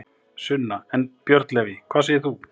Sunna: En, Björn Leví, hvað segir þú?